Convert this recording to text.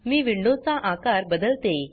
मी window चा आकार बदलते